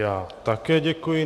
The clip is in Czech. Já také děkuji.